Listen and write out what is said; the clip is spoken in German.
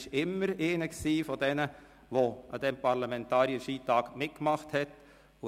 Er war immer einer von denen, die am Parlamentarier-Skitag mitgemacht haben.